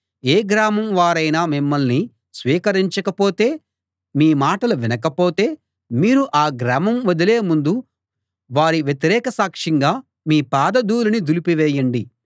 ఏ గ్రామం వారైనా మిమ్మల్ని స్వీకరించకపోతే మీ మాటలు వినకపోతే మీరు ఆ గ్రామం వదిలే ముందు వారి వ్యతిరేక సాక్షంగా మీ పాద ధూళిని దులిపి వేయండి